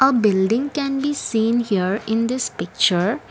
building can be seen here in this picture.